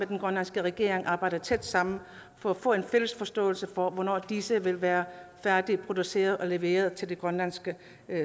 den grønlandske regering vil arbejde tæt sammen for at få en fælles forståelse for hvornår disse vil være færdigproduceret og leveret til det grønlandske